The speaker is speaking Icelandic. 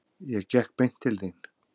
Ég gekk beint til þín.